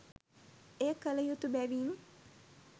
එය කළ යුතු බැවින්